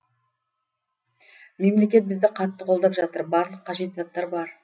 мемлекет бізді қатты қолдап жатыр барлық қажет заттар бар